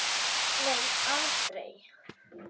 Nei aldrei.